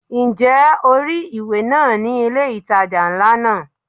Ǹjẹ́ o rí ìwé náà ni ilé ìtajà ńlá náà?